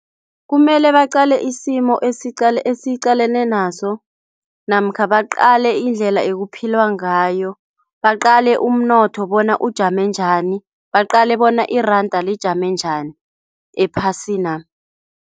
Kumele baqale isimo esiqale esiqalene naso namkha baqale indlela ekuphilwa ngayo. Baqale umnotho bona ujame njani. Baqale bona iranda lijame njani ephasina.